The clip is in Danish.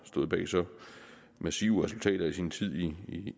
stået bag så massive resultater i sin tid